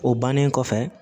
O bannen kɔfɛ